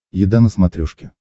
еда на смотрешке